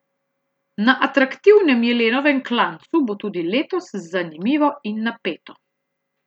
Na atraktivnem Jelenovem klancu bo tudi letos zanimivo in napeto.